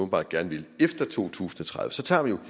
gerne vil efter to tusind og tredive tager vi jo